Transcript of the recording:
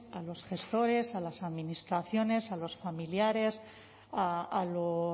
a los gestores a las administraciones a los familiares a los